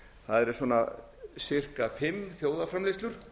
það eru svona pikka fimm þjóðarframleiðsla